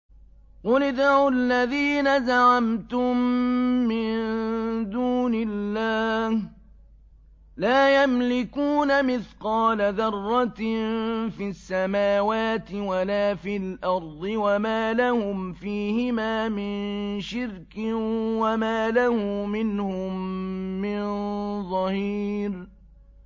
قُلِ ادْعُوا الَّذِينَ زَعَمْتُم مِّن دُونِ اللَّهِ ۖ لَا يَمْلِكُونَ مِثْقَالَ ذَرَّةٍ فِي السَّمَاوَاتِ وَلَا فِي الْأَرْضِ وَمَا لَهُمْ فِيهِمَا مِن شِرْكٍ وَمَا لَهُ مِنْهُم مِّن ظَهِيرٍ